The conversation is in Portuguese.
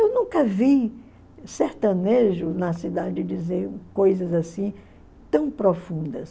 Eu nunca vi sertanejo na cidade dizer coisas assim tão profundas.